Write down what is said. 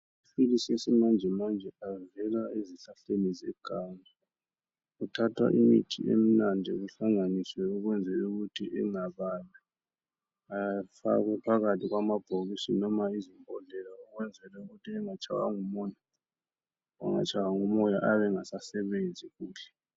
Amaphilisi esimanjemanje ayezelwa ezihlahleni zekani kuthatha imithi eminadi kuhlanganiswe ukwenzela ukuthi engababi. Afake phakathi kwamabhokisi noma yizi yizigodo ukwenzela ukuthi angatshaywa ngumoya, angatshaywa ngumoya ayabe engasasebenzi kuhle.